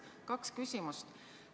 Mul on kaks küsimust.